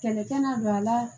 Kɛlɛ tɛna don a la